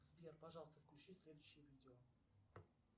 сбер пожалуйста включи следующее видео